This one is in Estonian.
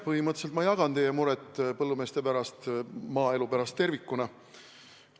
Põhimõtteliselt ma jagan teie muret põllumeeste pärast, maaelu pärast tervikuna.